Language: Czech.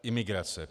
Imigrace.